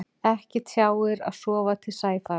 Ekki tjáir að sofa til sæfara.